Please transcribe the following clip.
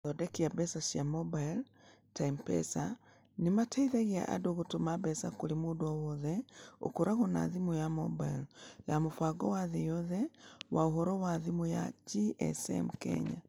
Mathondeki ma mbeca cia mobailo, ta M-Pesa, nĩ mateithagia andũ gũtũma mbeca kũrĩ mũndũ o wothe ũkoragwo na thimũ ya mobailo ya Mũbango wa Thĩ Yothe wa Ũhoro wa thimũ (GSM) Kenya.